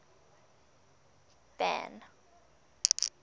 van